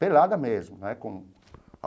Pelada mesmo né com.